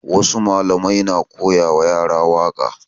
Wasu malamai na koya ma yara waƙa